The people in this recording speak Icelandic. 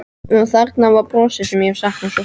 Og þarna var brosið sem ég hafði saknað svo sárt.